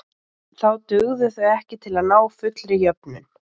Þá dugðu þau ekki til að ná fullri jöfnun.